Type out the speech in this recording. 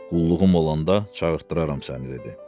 Qulluğun olanda çağırdıram səni dedi.